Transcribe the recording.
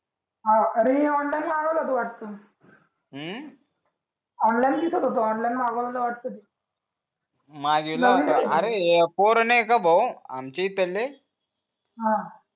अरे हे ऑनलाईन मागवलं तू वाटत हम्म ऑनलाईन दिसत होत ऑनलाईन मागविल वाटत मागविल होत अरे पोर नाही का भाऊ आमचे इकडले हा